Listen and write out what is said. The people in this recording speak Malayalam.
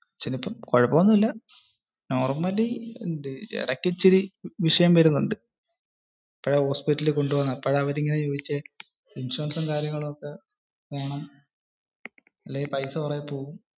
കുഴപ്പം ഒന്നുമില്ല. normal. ഇടയ്ക്കു ഇച്ചിരി വിഷയം വരുന്നുണ്ട്. അപ്പോഴാ ഹോസ്പിറ്റലിൽ കൊണ്ടുപോകുന്നെ. അപ്പോഴാ അവര് ഇങ്ങനെ ചോയ്ച്ച ഇൻഷുറൻസും കാര്യങ്ങളും ഒക്കെ വേണം. ഇല്ലെങ്കിൽ പൈസ കുറെ പോകും.